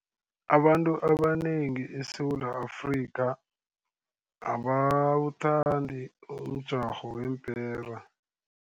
Abantu abanengi eSewula Afrika abawuthandi umjarho weempera.